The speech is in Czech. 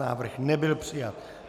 Návrh nebyl přijat.